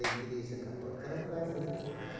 A igreja católica, elas não da essas resposta.